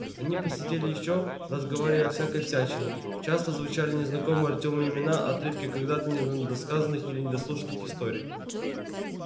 они посидели ещё разговаривая о всякой всячине часто звучали незнакомые артёму имена отрывки когда-то недосказанных или недослушанных историй